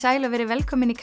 sæl og verið velkomin í